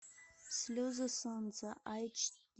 слезы солнца айч ди